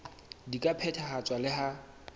di ka phethahatswa le ha